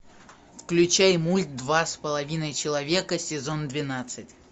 включай мульт два с половиной человека сезон двенадцать